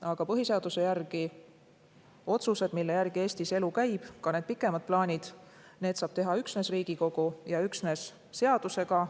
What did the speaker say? Aga põhiseaduse järgi saab otsused, mille järgi Eestis elu käib, ja ka pikemad plaanid teha üksnes Riigikogu ja üksnes seadusega.